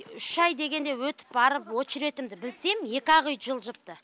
үш ай дегенде өтіп барып очеретімді білсем екі ақ үй жылжыпты